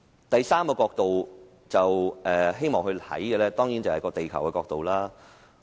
第三個角度，當然是地球的角度。